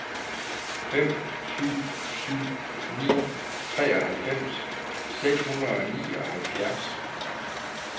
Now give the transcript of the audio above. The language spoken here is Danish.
fem syv syv ni treoghalvfems seks hundrede og nioghalvfjerds